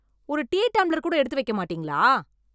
ஒரு tea tumbler கூட எடுத்து வைக்க மாட்டீங்களா?